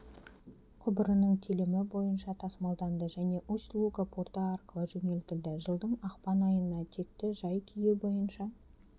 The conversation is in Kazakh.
құбырының телімі бойынша тасымалданды және усть-луга порты арқылы жөнелтілді жылдың ақпан айына текті жай-күйі бойынша